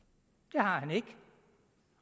har han ikke